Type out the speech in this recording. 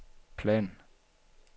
plan